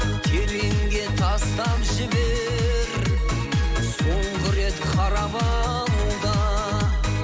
тереңге тастап жібер соңғы рет қарап ал да